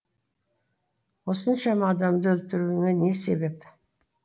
осыншама адамды өлтіруіңе не себеп